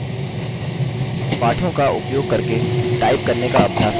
पाठों का उपयोग करके टाइप करने का अभ्यास करते हैं